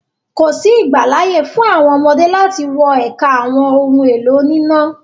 Kòsí ìgbàláyè fún àwọn ọmọdé láti wọ ẹka àwọn ohun-èlò oníná.